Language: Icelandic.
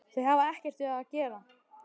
Þau hafa ekkert við það að gera